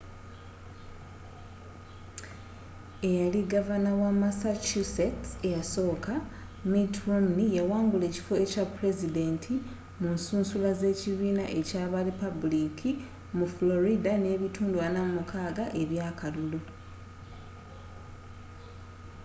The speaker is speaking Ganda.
eyali gavana wa massachusetts ekyasooka mitt romney yawangula ekifo ekya pulezidenti mu nsusula z'ekibiina ekya ba lipaabuliki mu florida n'ebitundu 46 eby'akalulu